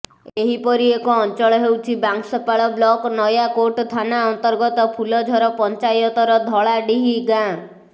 ଏହିପରି ଏକ ଅଞ୍ଚଳ ହେଉଛି ବାଂଶପାଳ ବ୍ଲକ ନୟାକୋଟ ଥାନା ଅନ୍ତର୍ଗତ ଫୁଲଝର ପଞ୍ଚାୟତର ଧଳାଡିହି ଗାଁ